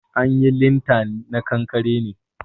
An yi linta na kankare ne